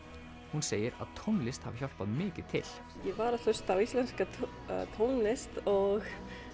hún segir að tónlist hafi hjálpað mikið til ég var að hlusta á íslenska tónlist og